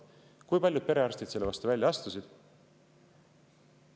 Kui paljud perearstid selle vastu välja astusid?